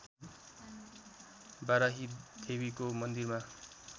बाराही देवीको मन्दिरमा